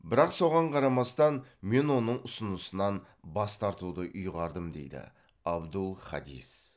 бірақ соған қарамастан мен оның ұсынысынан бас тартуды ұйғардым дейді абдул хадис